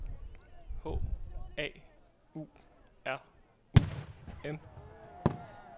H A U R U M